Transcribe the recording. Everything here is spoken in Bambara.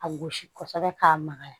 A gosi kosɛbɛ k'a magaya